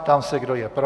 Ptám se, kdo je pro.